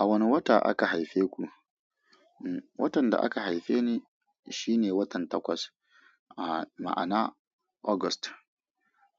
A wane wata aka haife ku? Watan da aka haife ni shine watan Takwas, a ma'ana August.